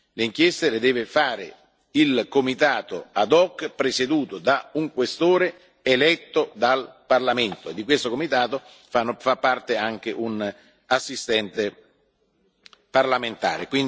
Le inchieste le deve fare il comitato ad hoc presieduto da un Questore eletto dal Parlamento, e di questo comitato fa parte anche un assistente parlamentare.